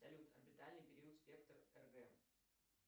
салют орбитальный период спектр кг